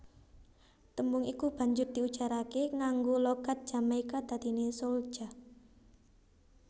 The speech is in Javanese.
Tembung iku banjur diujaraké nganggo logat Jamaika dadiné souljah